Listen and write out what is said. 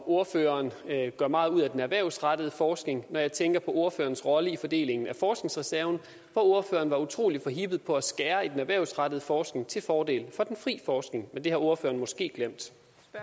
ordføreren gør meget ud af den erhvervsrettede forskning når jeg tænker på ordførerens rolle i fordelingen af forskningsreserven hvor ordføreren var utrolig forhippet på at skære i den erhvervsrettede forskning til fordel for den fri forskning men det har ordføreren måske glemt